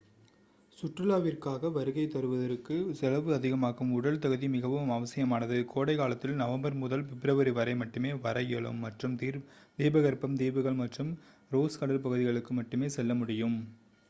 சுற்றுலாவிற்காக வருகை தருவதற்கு செலவு அதிகமாகும் உடல் தகுதி மிகவும் அவசியமானது கோடைகாலத்தில் நவம்பர் முதல் பிப்ரவரி வரை மட்டுமே வர இயலும் மற்றும் தீபகற்பம் தீவுகள் மற்றும் ரோஸ் கடல் பகுதிகளுக்கு மட்டுமே செல்ல முடியும்